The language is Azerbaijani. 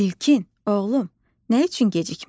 İlkin, oğlum, nə üçün gecikmisən?